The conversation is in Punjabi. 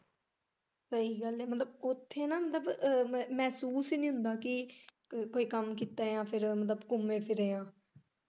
ਸਹੀ ਗੱਲ ਐ ਮਤਲਬ ਉੱਥੇ ਨਾ ਮਤਲਬ ਮਹਿਸੂਸ ਹੀ ਨੀ ਹੁੰਦਾ ਕਿ ਕੋਈ ਕੰਮ ਕੀਤਾ ਜਾ ਫਿਰ ਮਤਲਬ ਘੁੰਮੇ ਫਿਰੇ ਆ।